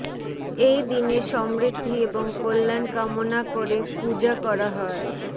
এই দিনে সমৃদ্ধি এবং কল্যাণ কামনা করে পূজা করা হয়